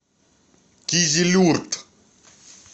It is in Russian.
кизилюрт